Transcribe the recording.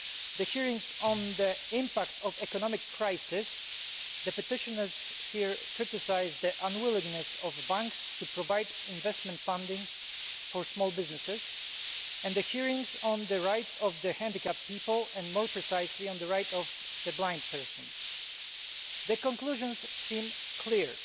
the hearings on the impact of the economic crisis petitioners here have criticised the unwillingness of banks to provide investment funding for small businesses and the hearings on the rights of disabled people and, more precisely, of blind people. The conclusions seem clear